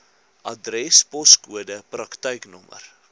adres poskode praktyknommer